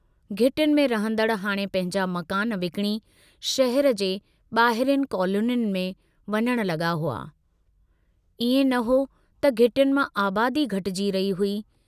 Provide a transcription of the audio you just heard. घिटियुनि में रहंदड़ हाणे पंहिंजा मकान विकणी शहर जे बाहिरियुन कॉलोनियुनि में वञण लगा हुआ, इएं न हो, त घिटियुनि मां आबादी घटिजी रही हुई।